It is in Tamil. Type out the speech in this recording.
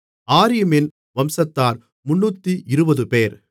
ஆரீமின் வம்சத்தார் 320 பேர்